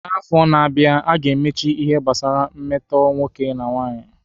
N'afọ na-abịa, a ga-emechi ihe gbasara mmetọ nwoke na nwanyị.